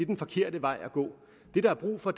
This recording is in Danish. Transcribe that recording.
den forkerte vej at gå det der er brug for